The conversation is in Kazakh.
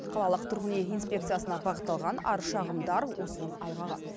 қалалық тұрғын үй инспекциясына бағытталған арыз шағымдар осының айғағы